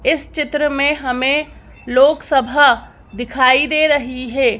इस चित्र में हमें लोकसभा दिखाई दे रही है।